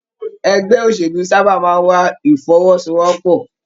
Ẹgbẹ òṣèlú sábà máa n wà ifọ́wọ́sowọ́pọ̀.